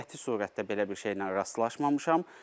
Qəti surətdə belə bir şeylə rastlaşmamışam.